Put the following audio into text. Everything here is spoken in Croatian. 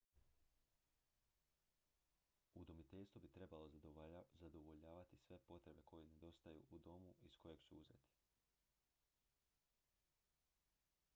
udomiteljstvo bi trebalo zadovoljavati sve potrebe koje nedostaju u domu iz kojeg su uzeti